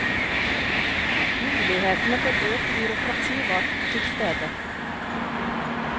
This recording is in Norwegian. Mulighetene for økt byråkrati var til stede.